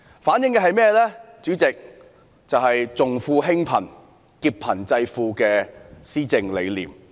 主席，這做法反映政府重富輕貧、劫貧濟富的施政理念。